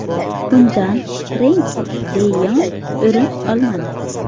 Undan Frenki de Yong o‘rin olmadi.